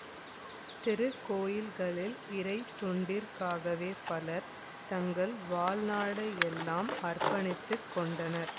திருக்கோயில்களில் இறைத் தொண்டிற்காகவே பலர் தங்கள் வாழ்நாளையெல்லாம் அர்ப்பணித்து கொண்டனர்